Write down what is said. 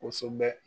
Kosɛbɛ